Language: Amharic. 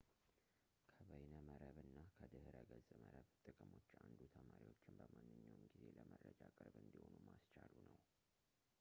ከበይነ መረብና ከድሕረ ገፅ መረብ ጥቅሞች አንዱ ተማሪዎችን በማንኛውም ጊዜ ለመረጃ ቅርብ እንዲሆኑ ማስቻሉ ነው